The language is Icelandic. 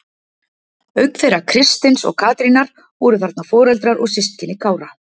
Auk þeirra Kristins og Katrínar voru þarna foreldrar og systkini Kára.